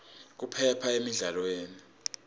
kuphepha emidlalweni